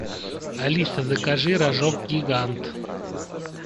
алиса закажи рожок гигант